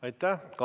Aitäh!